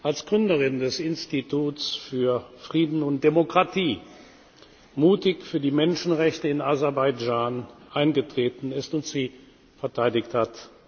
als Gründerin des Instituts für Frieden und Demokratie mutig für die Menschenrechte in Aserbaidschan eingetreten ist und sie verteidigt hat.